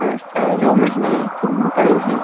और चारों महिलाये सिंपल हैं।